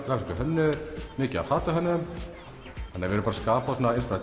grafískir hönnuðir mikið af fatahönnuðum við erum að skapa